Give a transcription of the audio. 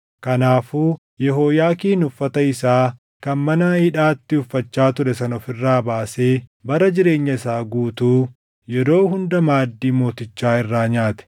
Kanaafuu Yehooyaakiin uffata isaa kan mana hidhaatti uffachaa ture sana of irraa baasee bara jireenya isaa guutuu yeroo hunda maaddii mootichaa irraa nyaate.